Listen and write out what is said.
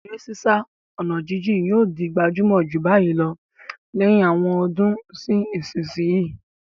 Eré sísá ọ̀nà jíjìn yóò di gbajúmọ̀ jù báyìí lọ lẹ́yìn àwọn ọdún sí ìsinsìnyí.